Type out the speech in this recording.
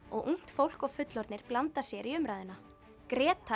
og ungt fólk og fullorðnir blanda sér í umræðuna